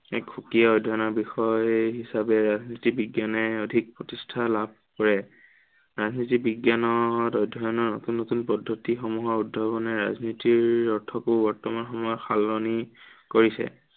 এক সুকীয়া অধ্য়য়নৰ বিষয়ে হিচাপে ৰাজনীতি বিজ্ঞানে অধিক প্ৰতিষ্ঠা লাভ কৰে। ৰাজনীতি বিজ্ঞানৰ অধ্য়য়নৰ নতুন নতুন পদ্ধিত সমূহ অধ্য়য়নে ৰাজনীতিৰ অৰ্থকো বৰ্তমান সময়ত সলনি কৰিছে।